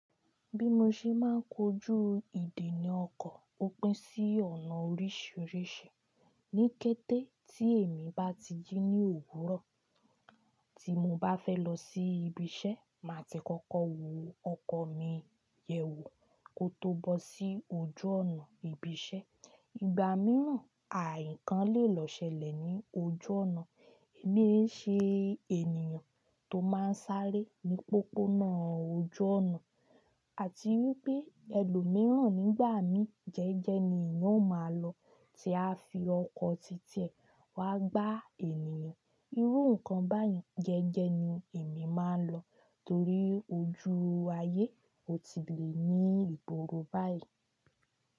Bí mo ṣe máa ń kojú ìdení ọkọ̀, ó pín sí ọ̀nà oríṣiríṣi. Ní kété tí èmi bá ti jí ní òwúrọ̀, tí mo bá fẹ́ lọ sí ibi iṣẹ́, màá ti kọ́kọ́ wo ọkọ̀ mi yẹ́ wo kó tó bọ́ sí ojú ọ̀nà ibi iṣẹ́. Ìgbà mìíràn, à nkán lè lọ ṣẹlẹ̀ ní ojú ọ̀nà. Èmi ń ṣe ènìyàn tó máa ń sáré ní pópónà ojú ọ̀nà àti wípé ẹlòmíràn nígbà mi jẹ́ẹ́jẹ́ ni eeyan ó máa lọ tí a fi ọkọ̀ titẹ wá gbá ènìyàn. Irú nǹkan báyìí jẹ́ẹ́jẹ́ ni èmi máa ń lọ, torí ojú ayé ò tí lè ní ìgbòòrò báyìí.